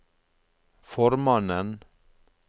formannen